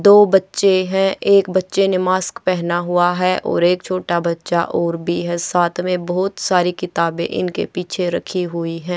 दो बच्चे हैं एक बच्चे ने मास्क पहना हुआ है और एक छोटा बच्चा और भी है साथ में बहोत सारी किताबें इनके पीछे रखी हुई हैं।